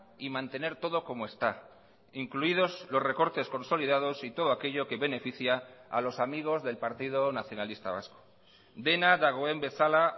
y mantener todo como está incluidos los recortes consolidados y todo aquello que beneficia a los amigos del partido nacionalista vasco dena dagoen bezala